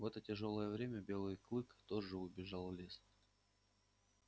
в это тяжёлое время белый клык тоже убежал в лес